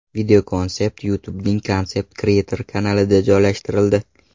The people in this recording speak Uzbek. Videokonsept YouTube’ning Concept Creator kanalida joylashtirildi .